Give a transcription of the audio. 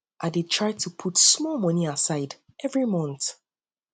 i dey try to put small money aside every month